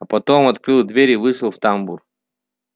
а потом открыл дверь и вышел в тамбур